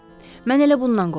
Mən elə bundan qorxurdum.